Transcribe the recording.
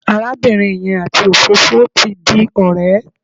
Arábìnrin yẹn àti òfófó ti di ọ̀rẹ́.